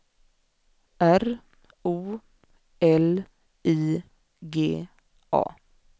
R O L I G A